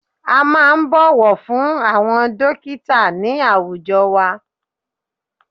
A máà ń bọ̀wọ̀ fún àwọn dọ́kítà ní àwùjọ wa.